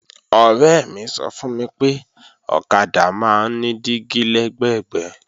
Ọ̀rẹ́ mi sọ fún mi pé ọ̀kadà máa ń ní dígí lẹ́gbẹ̀gbẹ́